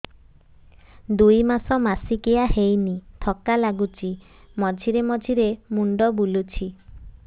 ଦୁଇ ମାସ ମାସିକିଆ ହେଇନି ଥକା ଲାଗୁଚି ମଝିରେ ମଝିରେ ମୁଣ୍ଡ ବୁଲୁଛି